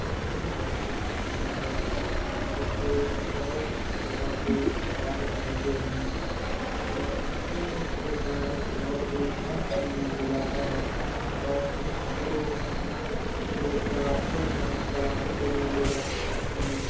Machine है और इससे बहुत प्रकार के कार्य होते है और मशीन से कार्य बहुत ही काम समय में हो जाता है और मशीन को लोग चलाते है चलने के लिए लोग रखे जाते है।